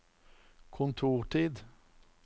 kontortid